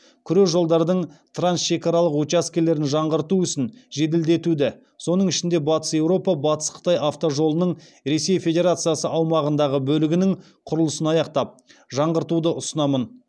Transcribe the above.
күре жолдардың трансшекаралық учаскелерін жаңғырту ісін жеделдетуді соның ішінде батыс еуропа батыс қытай автожолының ресей федерациясы аумағындағы бөлігінің құрылысын аяқтап жаңғыртуды ұсынамын